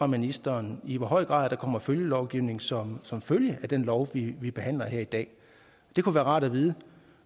ministeren i hvor høj grad der kommer følgelovgivning som som følge af den lov vi behandler her i dag det kunne være rart at vide